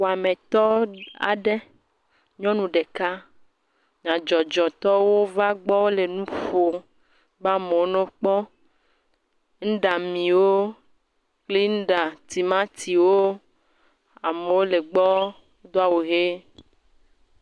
Wɔametɔ aɖe, nyɔnu ɖeka, nyadzɔdzɔtɔwo va gbɔ wole nu ƒo ba 'mewo n'okpɔ nuɖamiwo kple nuɖatimatiwo. Amewo le gbɔ do awu he.